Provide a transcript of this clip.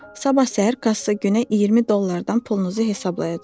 Sabah səhər kassir günə 20 dollardan pulunuzu hesablayacaq.